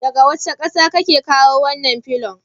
Daga wace ƙasa ake kawo wannan filon?